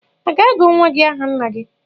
A ga-agu nwa gị aha nna gị?